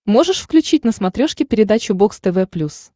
можешь включить на смотрешке передачу бокс тв плюс